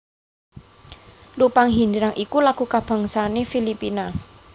Lupang Hinirang iku lagu kabangsané Filipina